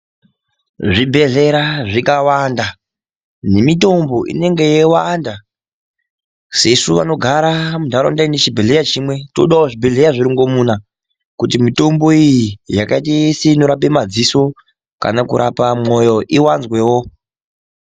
Zvibhedhlera zvakawanda nemitombo inenge yeiwanda. Sesu vanogara muntaraunda inechibhehlera chimwe, todawo zvibhedhleya zvirongomuna. Kuti mitombo iyi yakaite seinorape madziso kana kurapa mwoyo iwanzwewo.